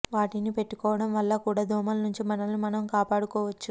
వాటిని పెట్టుకోవడం వల్ల కూడా దోమల నుంచి మనలను మనం కాపాడుకోవచ్చు